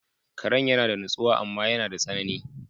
Karan yana da natsuwa amma yana da tsanani.